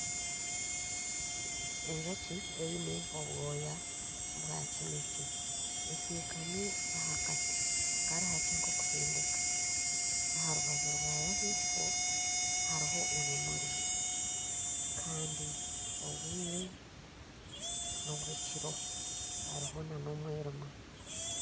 Enjoki eine obwoya bwa kinekye, etekami aha kati karihakye nk'okuhendeka aha rubaju rwayo ahaifo hariho ebimuri kandi obwire n'obw'ekiro hariho nana omwirima